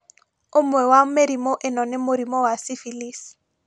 ũmwe wa mĩrĩmũ ĩno nĩ mũrimũ wa syphilis